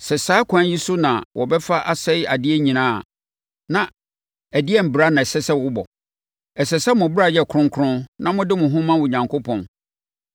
Sɛ saa ɛkwan yi so na wɔbɛfa asɛe adeɛ nyinaa a, na ɛdeɛn bra na ɛsɛ sɛ wobɔ? Ɛsɛ sɛ mo bra yɛ kronkron na mode mo ho ma Onyankopɔn.